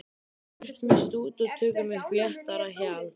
Burt með sút og tökum upp léttara hjal.